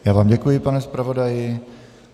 Já vám děkuji, pane zpravodaji.